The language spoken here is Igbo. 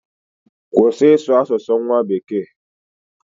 Kwụsị ịsụ asụsụ nwa bekee!